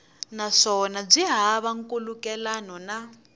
naswona byi hava nkhulukelano na